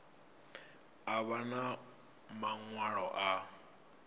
a vha na maṅwalo a